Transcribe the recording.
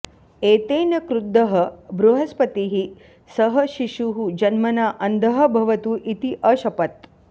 एतेन क्रुद्धः बृहस्पतिः सः शिशुः जन्मना अन्धः भवतु इति अशपत्